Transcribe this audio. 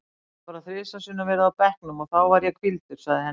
Ég hef bara þrisvar sinnum verið á bekknum og þá var ég hvíldur, sagði Henry.